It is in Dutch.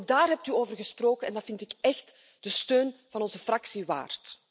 Ook daar heeft u over gesproken en dat vind ik echt de steun van onze fractie waard.